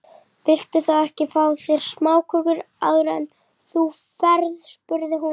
Viltu þá ekki fá þér smáköku áður en þú ferð spurði hún.